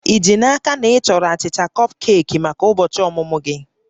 Ị ji n'aka na ị chọrọ achịcha kọpkeeki maka ụbọchị ọmụmụ gị?